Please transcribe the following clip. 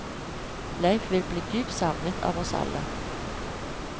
Leif vil bli dypt savnet av oss alle.